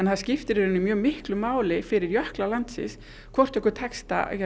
að það skiptir í rauninni mjög miklu máli fyrir jökla landsins hvort okkur tekst að